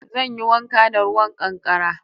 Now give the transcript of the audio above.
Zan yi wanka da ruwan ƙankara